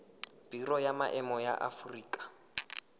biro ya maemo ya aforika